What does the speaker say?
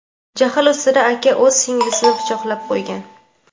jahl ustida aka o‘z singlisini pichoqlab qo‘ygan.